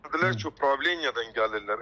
Dedilər ki, upravleniyadan gəlirlər.